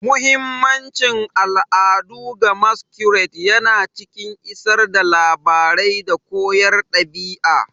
Muhimmancin al'adu ga Masquerades yana cikin isar da labarai da koyarwar ɗabi'a.